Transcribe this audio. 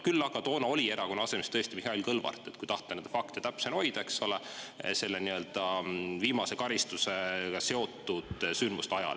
Küll aga toona oli erakonna …… tõesti Mihhail Kõlvart, kui tahta neid fakte täpsena hoida, eks ole, selle nii-öelda viimase karistusega seotud sündmuste ajal.